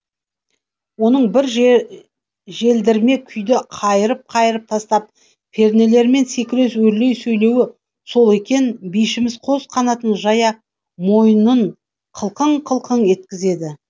оның бір желдірме күйді қайырып қайырып тастап пернелермен секіре өрлей жөнеуі сол екен бишіміз қос қанатын жая мойнын қылқың қылқың еткізеді